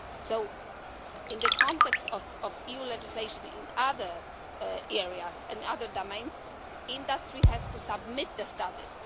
So in the context of EU legislation in other areas and other domains, industry has to submit the studies.